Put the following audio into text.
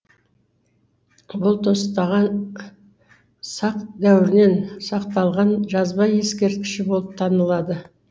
бұл тостаған сақ дәуірінен сақталған жазба ескерткіш болып танылады